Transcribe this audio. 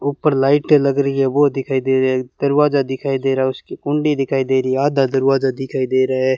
ऊपर लाइटें लग री है वो दिखाई दे रहे है दरवाजा दिखाई दे रहा है उसकी कुंडी दिखाई दे री है आधा दरवाजा दिखाई दे रहा है।